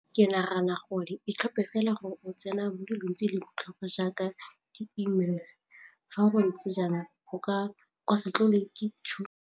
Ke nagana gore e tlhophe fela gore o tsena mo dilong tse di leng botlhokwa jaaka di-E-mails, fa go ntse jalo go ka se tlolwe ke .